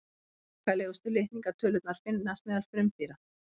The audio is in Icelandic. svakalegustu litningatölurnar finnast meðal frumdýra